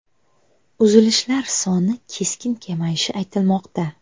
Uzilishlar soni keskin kamayishi aytilmoqda.